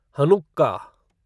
Hanukkah